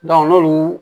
n'olu